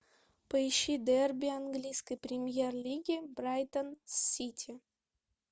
поищи дерби английской премьер лиги брайтон с сити